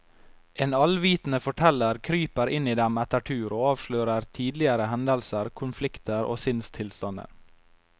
En allvitende forteller kryper inn i dem etter tur og avslører tidligere hendelser, konflikter og sinnstilstander.